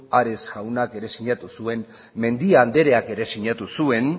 ares jaunak ere sinatu zuen mendia andreak ere sinatu zuen